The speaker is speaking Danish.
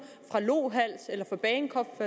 fra lohals eller fra bagenkop